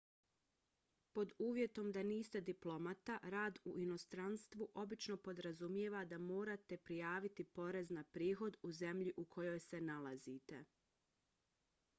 pod uvjetom da niste diplomata rad u inostranstvu obično podrazumijeva da morate prijaviti porez na prihod u zemlji u kojoj se nalazite